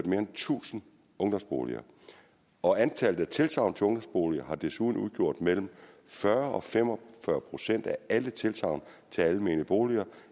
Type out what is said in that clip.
mere end tusind ungdomsboliger og antallet af tilsagn til ungdomsboliger har desuden udgjort mellem fyrre og fem og fyrre procent af alle tilsagn til almene boliger